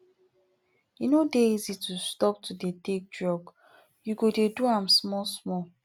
e no dey easy to stop to dey take drug you go dey do am small small